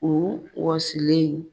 U wɔsilen